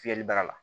Fiyɛli baara la